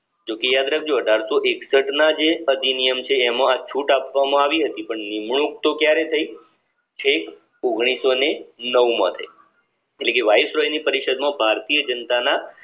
જો કે યાદ રાખજો અઢારસો એકસઠ ના જે અધિનિયમ અચ્છે એમાં આ છૂટ આપવામાં આવી હતી પણ નિમણૂંક તો ક્યારે થઇ છેક ઓગણીસો ને નવ માં થાઈ એટલે કે વાઇસરોય ની પરિષદ માં ભારતીય જનતા ના